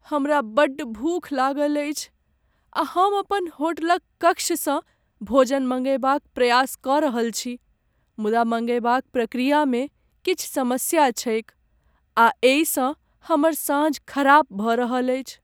हमरा बड्ड भूख लागल अछि आ हम अपन होटलक कक्षसँ भोजन मंगयबाक प्रयास कऽ रहल छी, मुदा मंगयबाक प्रक्रियामे किछु समस्या छैक आ एहिसँ हमर साँझ खराब भऽ रहल अछि।